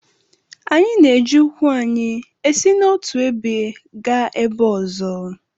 Anyị na-eji ụkwụ anyị esi n’otu ebe gaa ebe ọzọ